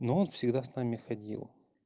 но он всегда с нами ходил